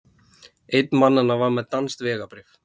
Einn mannanna var með danskt vegabréf